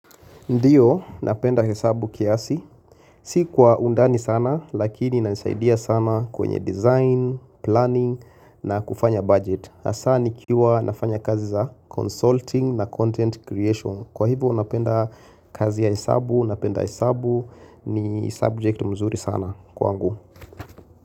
Ndiyo, napenda hesabu kiasi, si kwa undani sana lakini inanisaidia sana kwenye design, planning na kufanya budget hasa nikiwa nafanya kazi za consaulting na content creation, kwa hivyo napenda kazi ya hesabu, napenda hesabu ni subject mzuri sana kwangu.